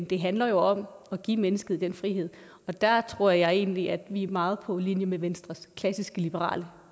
det handler jo om at give mennesket den frihed der tror jeg egentlig at vi er meget på linje med venstres klassiske liberale